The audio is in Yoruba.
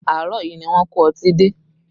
Àárọ̀ yìí ni wón kó ọtí dé